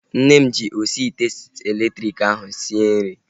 Nne m ji osi ite elektriki ahu esi nri